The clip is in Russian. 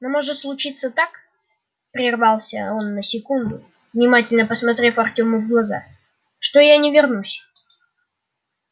но может случиться так прервался он на секунду внимательно посмотрев артему в глаза что я не вернусь